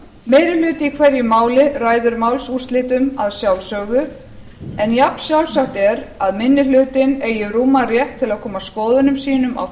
meiri hluti í hverju máli ræður málsúrslitum að sjálfsögðu en jafnsjálfsagt er að minni hluti eigi rúman rétt til að koma skoðunum sínum á